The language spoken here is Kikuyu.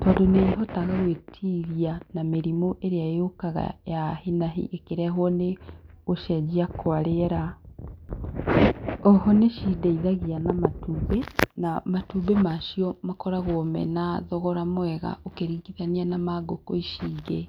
tondũ nĩ ihotaga gwĩtiria na mĩrimũ ĩrĩa yũkaga ya hinahi ĩkĩrehwo nĩ gũcenjia kwa rĩera, oho nĩ cindeithagia na matumbĩ, na matumbĩ macio makoragwo mena thogora mwega ũkĩringithania na ma ngũkũ ici ingĩ.